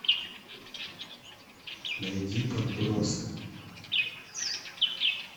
найди подбросы